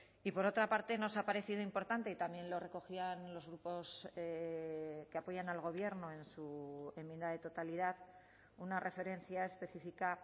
y por otra parte nos ha parecido importante y también lo recogían los grupos que apoyan al gobierno en su enmienda de totalidad una referencia específica